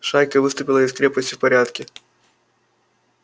шайка выступила из крепости в порядке